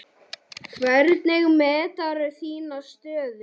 Hvernig meturðu þína stöðu?